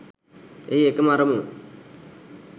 එහි එකම අරමුණ